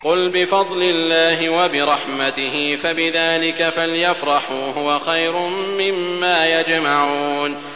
قُلْ بِفَضْلِ اللَّهِ وَبِرَحْمَتِهِ فَبِذَٰلِكَ فَلْيَفْرَحُوا هُوَ خَيْرٌ مِّمَّا يَجْمَعُونَ